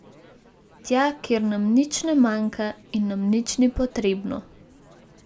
Tja, kjer nam nič ne manjka in nam nič ni potrebno.